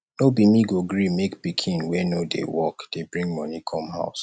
no be me go gree make pikin wey no dey work dey bring moni come house